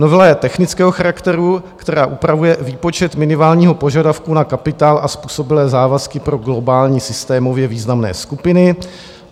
Novela je technického charakteru, která upravuje výpočet minimálního požadavku na kapitál a způsobilé závazky pro globální systémově významné skupiny.